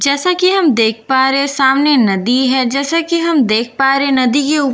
जैसे कि हम देख पा रहे सामने नदी है जैसे कि हम देख पा रहे नदी के ऊपर --